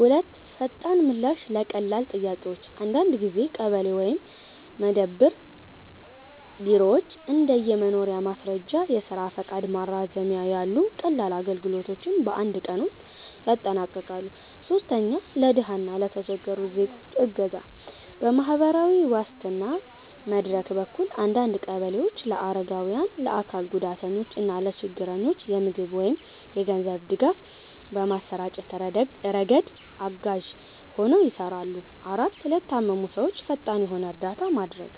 2. ፈጣን ምላሽ ለቀላል ጥያቄዎች - አንዳንድ ጊዜ ቀበሌ ወይም መደብር ቢሮዎች እንደ የመኖሪያ ማስረጃ፣ የስራ ፈቃድ ማራዘሚያ ያሉ ቀላል አገልግሎቶችን በአንድ ቀን ውስጥ ያጠናቅቃሉ። 3. ለድሃ እና ለተቸገሩ ዜጎች እገዛ - በማህበራዊ ዋስትና መድረክ በኩል አንዳንድ ቀበሌዎች ለአረጋውያን፣ ለአካል ጉዳተኞች እና ለችግረኞች የምግብ ወይም የገንዘብ ድጋፍ በማሰራጨት ረገድ አጋዥ ሆነው ይሰራሉ። 4, ለታመሙ ሰዎች ፈጣን የሆነ እርዳታ ማድረግ